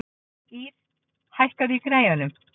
Ýrr, hækkaðu í græjunum.